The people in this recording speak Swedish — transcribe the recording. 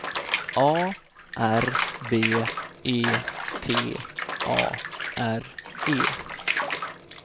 A R B E T A R E